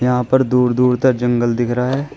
यहां पर दूर दूर तक जंगल दिख रहा है।